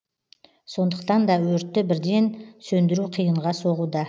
сондықтан да өртті бірден сөндіру қиынға соғуда